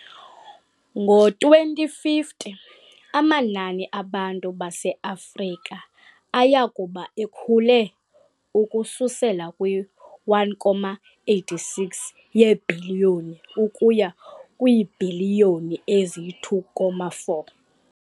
Ngo-2050, amanani abantu baseAfrika aya kuba ekhule ukususela kwi-1,86 yebhiliyoni ukuya kwiibhiliyoni ezi-2,4.